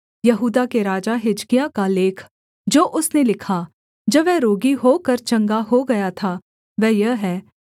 यहूदा के राजा हिजकिय्याह का लेख जो उसने लिखा जब वह रोगी होकर चंगा हो गया था वह यह है